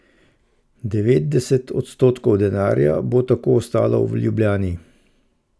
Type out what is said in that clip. Devetdeset odstotkov denarja bo tako ostalo v Ljubljani.